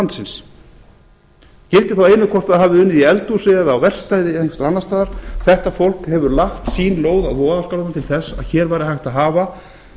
landsins skiptir þá einu hvort það hafi unnið í eldhúsi eða á verkstæði eða einhvers staðar annars staðar þetta fólk hefur lagt sín lóð á vogarskálarnar til að hér væri hægt að hafa